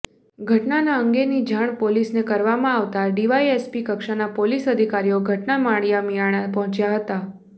ઘટના અંગેની જાણ પોલીસને કરવામાં આવતા ડીવાયએસપી કક્ષાના પોલીસ અધિકારીઓ ઘટના માળિયા મીયાણા પહોંચ્યા હતા